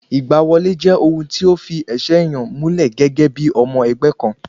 Ìgbà wọlé jẹ́ ohun tí o fi ẹsẹ̀ ènìyàn múlẹ̀ gẹ́gẹ́ bí ọmọ ẹgbẹ́ kan